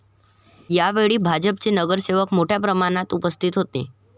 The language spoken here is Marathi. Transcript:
यावेळी भाजपचे नगरसेवक मोठ्या प्रमाणात उपस्थित होते.